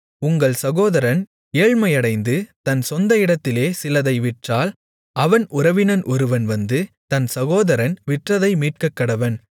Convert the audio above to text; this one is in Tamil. உங்கள் சகோதரன் ஏழ்மையடைந்து தன் சொந்த இடத்திலே சிலதை விற்றால் அவன் உறவினன் ஒருவன் வந்து தன் சகோதரன் விற்றதை மீட்கக்கடவன்